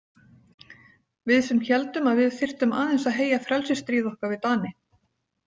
Við sem héldum að við þyrftum aðeins að heyja frelsisstríð okkar við Dani.